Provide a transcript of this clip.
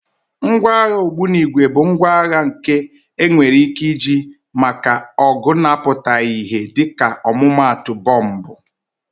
Ngwa agha ogbunigwe bụ ngwa agha nke enwere ike iji maka ọgụ na-apụtaghị ìhè dịka ọmụmaatụ bọmbụ.